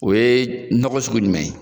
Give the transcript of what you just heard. O ye nɔgɔ don togo sugu jumɛn ye